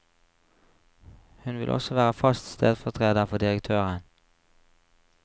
Hun vil også være fast stedfortreder for direktøren.